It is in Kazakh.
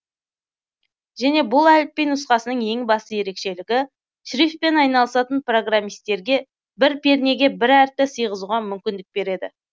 және бұл әліпби нұсқасының ең басты ерекшелігі шрифтпен айналысатын программисттерге бір пернеге бір әріпті сыйғызуға мүмкіндік береді